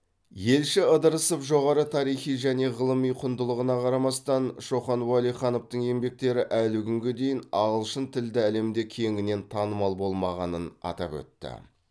елші ыдырысов жоғары тарихи және ғылыми құндылығына қарамастан шоқан уәлихановтың еңбектері әлі күнге дейін ағылшынтілді әлемде кеңінен танымал болмағанын атап өтті